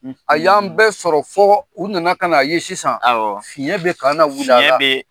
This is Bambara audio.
A y'an bɛɛ sɔrɔ fɔ u nana ka na ye sisan , fiɲɛ bɛ ka na